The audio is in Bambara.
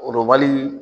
Lobali